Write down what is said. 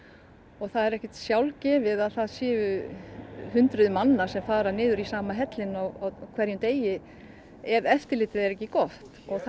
og það er ekkert sjálfgefið að það séu hundruðir manna sem fara niður í sama hellinn á hverjum degi ef eftirlitið er ekki gott og það